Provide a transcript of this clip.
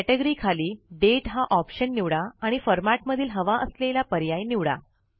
category खाली दाते हा ऑप्शन निवडा आणि फॉरमॅटमधील हवा असलेला पर्याय निवडा